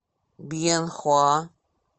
бьенхоа